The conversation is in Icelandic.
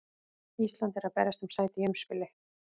Ísland er að berjast um sæti í umspili.